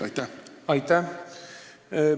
Aitäh!